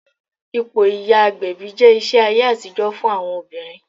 Ipò ìyá agbẹ̀bí jẹ́ iṣẹ́ ayé àtijọ́ fún àwọn obìnrin